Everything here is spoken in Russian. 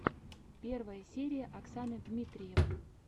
первая серия оксаны дмитриевой